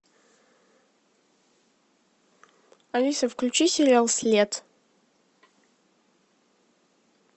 алиса включи сериал след